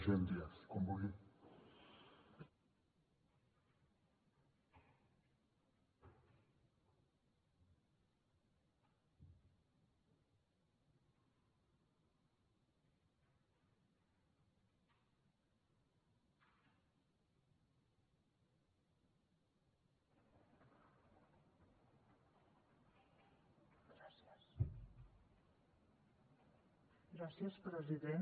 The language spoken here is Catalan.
gràcies president